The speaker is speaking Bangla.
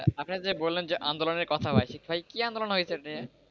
আপনি যে বললেন যে আন্দোলনের কথা ভাই কি আন্দোলন হয়েছে এটা নিয়ে?